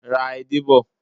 Ra edé bọ̀.